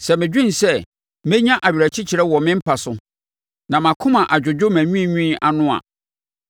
Sɛ medwene sɛ menya awerɛkyekyerɛ wɔ me mpa so, na mʼakonwa adwodwo mʼanwiinwii ano a,